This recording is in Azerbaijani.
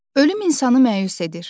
Ölüm insanı məyus edir.